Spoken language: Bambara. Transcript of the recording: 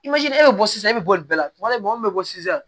e bɛ bɔ sisan e bɛ bɔ nin bɛɛ la tuma dɔ la mɔgɔ min bɛ bɔ sisan